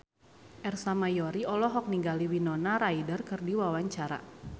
Ersa Mayori olohok ningali Winona Ryder keur diwawancara